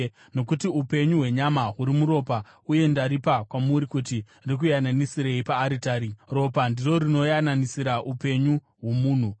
Nokuti upenyu hwenyama huri muropa uye ndaripa kwamuri kuti rikuyananisirei paaritari; ropa ndiro rinoyananisira upenyu hwomunhu.